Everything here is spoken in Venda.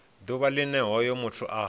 ḓuvha line hoyo muthu a